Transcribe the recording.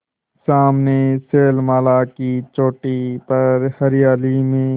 सामने शैलमाला की चोटी पर हरियाली में